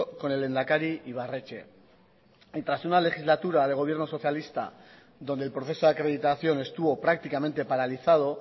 con el lehendakari ibarretxe y tras una legislatura de gobierno socialista donde el proceso de acreditación estuvo prácticamente paralizado